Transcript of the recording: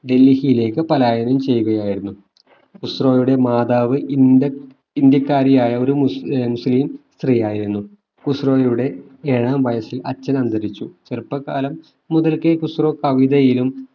ഡൽഹിയിലേക്ക് പലായനം ചെയ്യുകയായിരുന്നു ഖുസ്‌റോയുടെ മാതാവ് ഇന്ത്യ ഇന്ത്യക്കാരിയായ ഒരു മുസ്ലിം സ്ത്രീയായിരുന്നു ഖുസ്‌റോയുടെ ഏഴാം വയസിൽ അച്ഛൻ അന്തരിച്ചു ചെറുപ്പകാലം മുതൽക്കേ ഖുസ്രോ കവിതയിലും